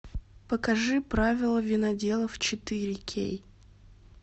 покажи правила виноделов четыре кей